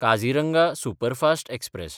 Kaziranga superfast express